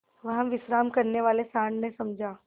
वहाँ विश्राम करने वाले सॉँड़ ने समझा